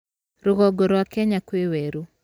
Rũgongo rwa Kenya kwĩ werũ.